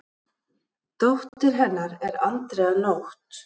Dóttir hennar er Andrea Nótt.